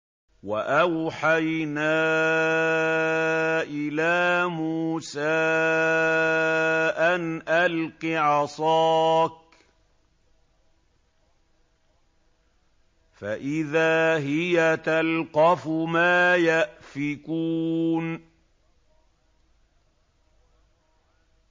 ۞ وَأَوْحَيْنَا إِلَىٰ مُوسَىٰ أَنْ أَلْقِ عَصَاكَ ۖ فَإِذَا هِيَ تَلْقَفُ مَا يَأْفِكُونَ